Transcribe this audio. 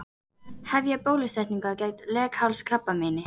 Hefja bólusetningu gegn leghálskrabbameini